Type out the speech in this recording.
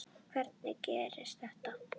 Hvernig gerðist þetta?